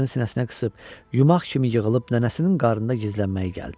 Başını sinəsinə qısıb yumaq kimi yığılıb nənəsinin qarnında gizlənməyi gəldi.